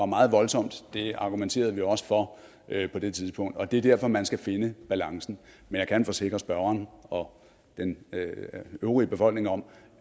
meget voldsomme det argumenterede vi også for på det tidspunkt og det er derfor at man skal finde balancen men jeg kan forsikre spørgeren og den øvrige befolkning om